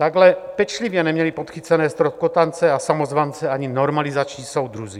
Takhle pečlivě neměli podchycené ztroskotance a samozvance ani normalizační soudruzi.